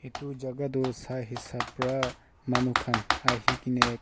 etu jaka tu sa esab para manu khan ahikine.